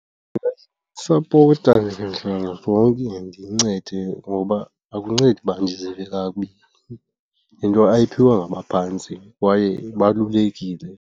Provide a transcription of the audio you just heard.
Ndingayisapota ngandlela zonke ndiyincede, ngoba akuncedi uba ndizive kakubi. Yinto ayiphiwe ngabaphantsi kwaye ibalulekile.